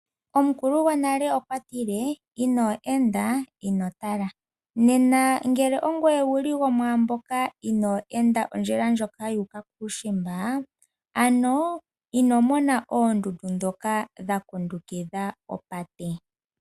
Omukulu gwonale okwa tile inoo enda ino tala. Nena ngele owu li go mwaa mboka ino enda ondjila ndjoka yuuka kuushimba, ano ino mona oondundu ndhoka dha kundukidha opate.